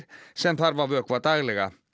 sem þarf að vökva daglega